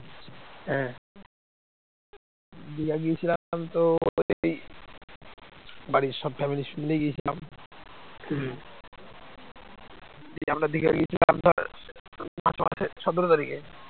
সতেরো তারিখে